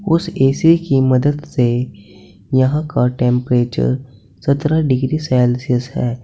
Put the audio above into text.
उस ए_सी की मदद से यहां का टेंपरेचर सत्रह डिग्री सेल्सियस है।